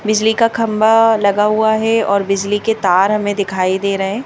बिजली का खंभा लगा हुआ है और बिजली के तार हमें दिखाई दे रहे--